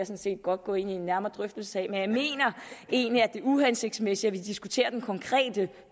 set godt gå ind i en nærmere drøftelse af men jeg mener egentlig at det er uhensigtsmæssigt at vi diskuterer den konkrete